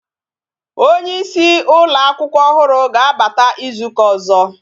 Onyeisi ụlọ akwụkwọ ọhụrụ ga-abata ịzụta ọzọ